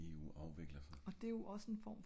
hvordan eu afvikler sig?